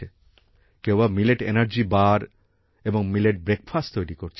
কেউ আবার millet energy bar এবং মিলেট ব্রেকফাস্ট তৈরি করছে